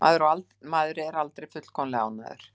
Maður er aldrei fullkomlega ánægður.